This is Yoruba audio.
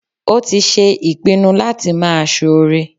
Ó tí se ìpinu láti máa soore